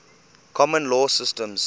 common law systems